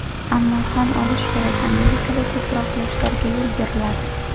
Ammo tan olish kerak, Amerikada ko‘proq yoshlarga yo‘l beriladi.